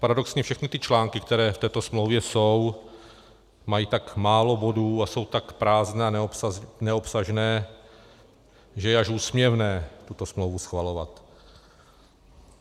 Paradoxně všechny ty články, které v této smlouvě jsou, mají tak málo bodů a jsou tak prázdné a neobsažné, že je až úsměvné tuto smlouvu schvalovat.